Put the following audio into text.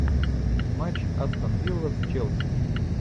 матч астон вилла с челси